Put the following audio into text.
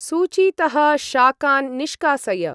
सू्चीतः शाकान् निष्कासय।